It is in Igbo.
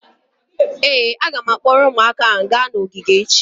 ee, a ga m akpọrọ ụmụaka gaa ogige echi